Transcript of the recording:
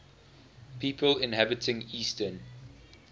people inhabiting eastern